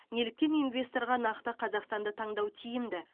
неліктен инвесторға нақты қазақстанды таңдау тиімді